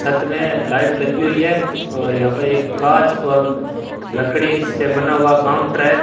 छत में लाइट लगी हुई है और यहां पर एक कांच और लकड़ी से बना हुआ काउंटर है।